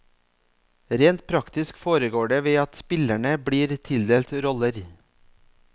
Rent praktisk foregår det ved at spillerne blir tildelt roller.